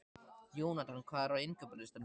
Jónatan, hvað er á innkaupalistanum mínum?